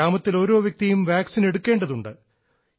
ഗ്രാമത്തിൽ ഓരോ വ്യക്തിയും വാക്സിൻ എടുക്കേണ്ടതുണ്ട്